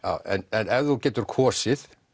en ef þú getur kosið